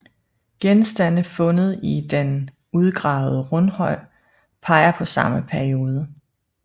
Genstande fundet i den udgravede rundhøj peger på samme periode